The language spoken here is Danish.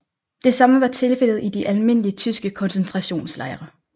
Det samme var tilfældet i de almindelige tyske koncentrationslejre